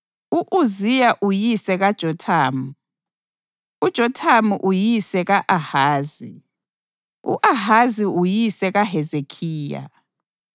u-Uziya uyise kaJothamu, uJothamu uyise ka-Ahazi, u-Ahazi uyise kaHezekhiya,